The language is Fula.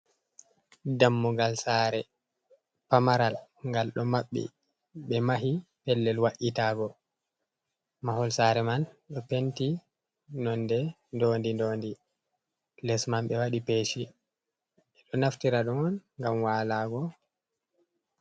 Dammugal saare pamaral. Ngal ɗo maɓɓi be mahi pellel wa’itago. Mahol saare man ɗo penti nonde dondi dondi les man be wadi peeshi, ɓe ɗo naftira ɗum on ngam waalaago.